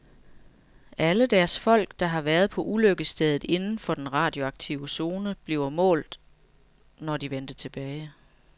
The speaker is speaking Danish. Alle deres folk, der havde været på ulykkesstedet inden for den radioaktive zone, blev målt, når de vendte tilbage.